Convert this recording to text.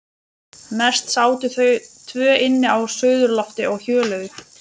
Mest sátu þau tvö inni á suðurlofti og hjöluðu.